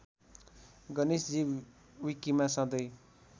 गणेशजी विकिमा सधैं